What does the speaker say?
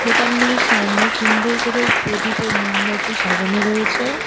দোকানগুলির সামনে সুন্দর করে প্রদীপ ও মোমবাতি সাজানো রয়েছে।